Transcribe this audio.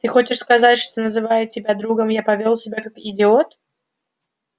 ты хочешь сказать что называя тебя другом я повёл себя как идиот